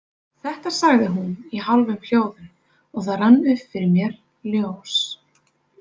Þetta sagði hún í hálfum hljóðum og það rann upp fyrir mér ljós.